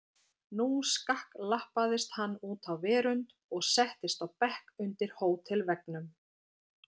Nú skakklappaðist hann út á verönd og settist á bekk undir hótelveggnum.